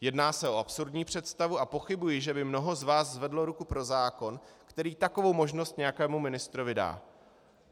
Jedná se o absurdní představu a pochybuji, že by mnoho z vás zvedlo ruku pro zákon, který takovou možnost nějakému ministrovi dá.